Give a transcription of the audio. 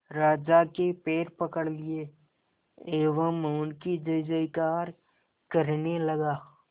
राजा के पैर पकड़ लिए एवं उनकी जय जयकार करने लगा